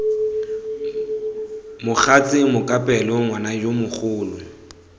mogatse mokapelo ngwana yo mogolo